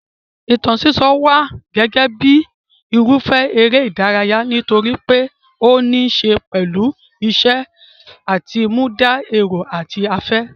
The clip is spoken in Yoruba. Ìtàn sísọ wà gẹ́gẹ́ bíi irúfẹ́ eré ìdárayá nítorí pé ó níí ṣe pẹ̀lú ìṣe àtinúdá, èrò àti afẹ́.